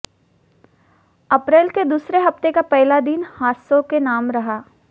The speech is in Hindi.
अप्रैल के दूसरे हफ्ते का पहला दिन हादसों के नाम रहा